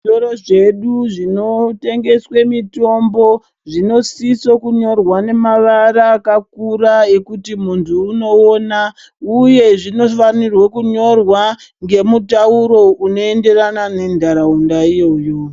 Zvitoro zvedu zvinotengeswe mitombo zvinosiso kunyorwa nemavara akakura ekuti munthu unoona uye zvinofanira kunyorwa nemutauro unoenderana nentharaunda iyoyo